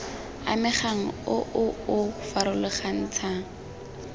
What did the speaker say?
amegang o o o farologantshang